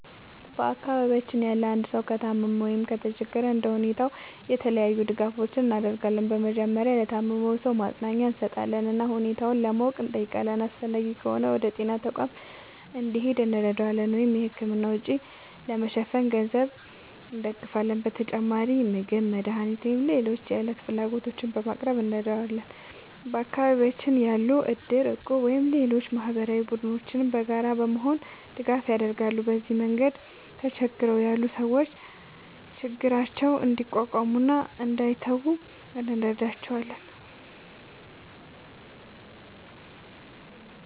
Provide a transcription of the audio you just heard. በአካባቢያችን ያለ አንድ ሰው ከታመመ ወይም ከተቸገረ እንደ ሁኔታው የተለያዩ ድጋፎችን እናደርጋለን። በመጀመሪያ ለታመመው ሰው ማጽናኛ እንሰጣለን እና ሁኔታውን ለማወቅ እንጠይቃለን። አስፈላጊ ከሆነ ወደ ጤና ተቋም እንዲሄድ እንረዳዋለን ወይም የሕክምና ወጪ ለመሸፈን በገንዘብ እንደግፋለን። በተጨማሪም ምግብ፣ መድኃኒት ወይም ሌሎች የዕለት ፍላጎቶችን በማቅረብ እንረዳዋለን። በአካባቢያችን ያሉ እድር፣ እቁብ ወይም ሌሎች ማህበራዊ ቡድኖችም በጋራ በመሆን ድጋፍ ያደርጋሉ። በዚህ መንገድ ተቸግረው ያሉ ሰዎች ችግራቸውን እንዲቋቋሙ እና እንዳይተዉ እንረዳቸዋለን።